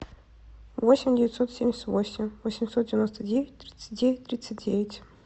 восемь девятьсот семьдесят восемь восемьсот девяносто девять тридцать девять тридцать девять